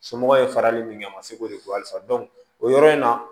Somɔgɔw ye farali min kɛ a ma se k'o de fɔ halisa o yɔrɔ in na